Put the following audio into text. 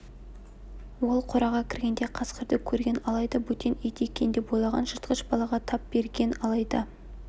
ол қораға кіргенде қасқырды көрген алайда бөтен ит екен деп ойлаған жыртқыш балаға тап берген алайда